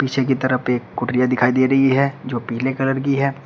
पीछे की तरफ एक कुटिया दिखाई दे रही है जो पीले कलर की है।